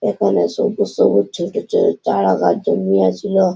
এখানে সবুজ সবুজ ছোট ছোট চারা গাছ জন্মিয়েছিল।